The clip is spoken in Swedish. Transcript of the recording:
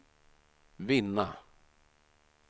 vinna